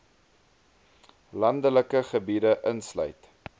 landelike gebiede insluit